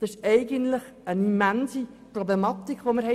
Es ist eigentlich eine immense Problematik, die hier besteht.